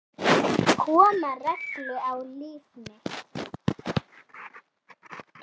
Koma reglu á líf mitt.